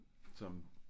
Som